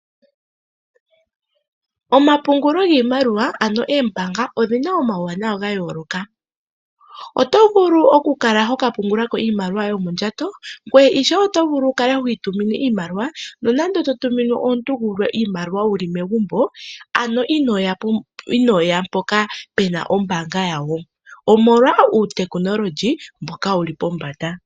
Omapungulo giimaliwa ano eembaanga odhina omawuwanawa gayooloka, otovulu okukala hokapungulako iimaliwa yoye yomondjato. Ngweye ishewe otovulu okukala hwiitumine iimaliwa nonande totumine omuntu gulwe iimaliwa wuli megumbo ano inooya mpoka pena ombaanga yago. Omolwa uutekinololyi mboka wuli pombanda.